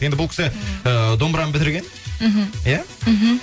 енді бұл кісі ыыы домбыраны бітірген мхм иә мхм